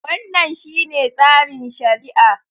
Wannan shine tsarin shari'a.